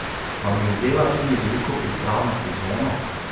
Vam je vzela tudi veliko priprav na sezono?